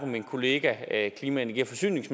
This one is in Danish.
min kollega energi forsynings